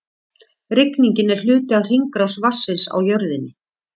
Rigningin er hluti af hringrás vatnsins á jörðinni.